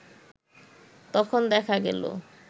তখন দেখা গেল